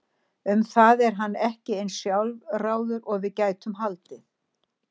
Um það er hann ekki eins sjálfráður og við gætum haldið.